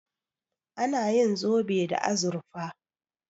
Ana yin zobe da azurfa.